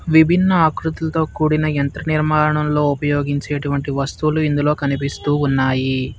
విభిన్న ఆకృతులతో కూడిన యంత్ర నిర్మాణంలో ఉపయోగించేటువంటి వస్తువులు ఇందులో కనిపిస్తూ ఉన్నాయి.